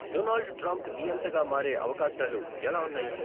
Donald Trump నియంతగా మారే అవకాశాలు ఎలా ఉన్నాయి